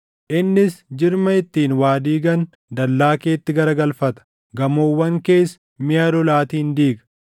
Innis jirma ittiin waa diigan dallaa keetti garagalfata; gamoowwan kees miʼa lolaatiin diiga.